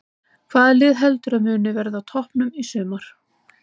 Hvaða lið heldurðu að muni verða á toppnum í sumar?